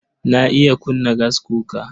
Na iya kunna gaskuka.